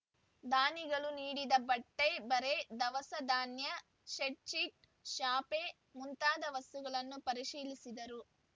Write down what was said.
ದಾನಿಗಳು ನೀಡಿದ ಬಟ್ಟೆ ಬರೆ ದವಸ ದಾನ್ಯ ಸೆಡ್‌ಶಿಟ್‌ ಚಾಪೆ ಮುಂತಾದ ವಸ್ತುಗಳನ್ನು ಪರಿಶೀಲಿಸಿದರು